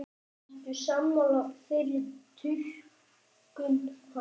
Ertu sammála þeirri túlkun hans?